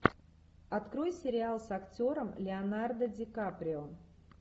открой сериал с актером леонардо ди каприо